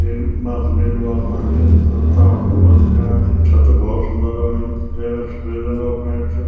येक माथ नीलू आसमान च अ ताल ढुंगा दिखेणा छिन छत भौत सुन्दर लगणी च जैमा सपेद रंगो क पेंट च।